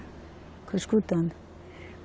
Ficou escutando.